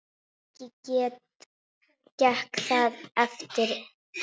Ekki gekk það eftir.